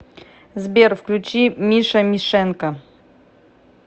сбер включи миша мишенко